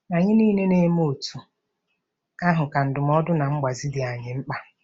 Anyị niile na-eme otú ahụ ka ndụmọdụ na mgbazi dị anyị mkpa.